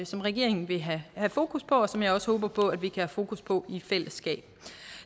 som regeringen vil have fokus på og som jeg også håber på at vi have fokus på i fællesskab